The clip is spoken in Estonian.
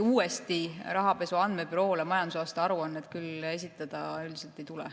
Uuesti Rahapesu Andmebüroole majandusaasta aruannet esitada üldiselt küll ei tule.